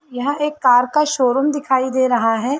यह एक कार का शोरुम दिखाई दे रहा है।